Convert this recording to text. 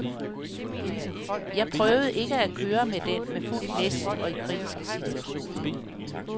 Jeg prøvede ikke at køre med den med fuldt læs og i kritiske situationer.